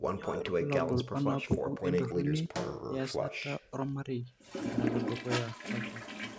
Kainyio irbulabul onaapuku entoroni easata ormarei nalo dukuya oltau?